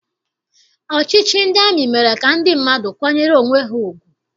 Ọchịchị ndị amị mere ka ndị mmadụ kwanyere onwe ha ugwu.